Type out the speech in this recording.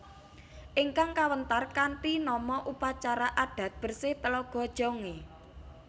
Ingkang kawéntar kanthi nama Upacara adat bersih Telaga Jongé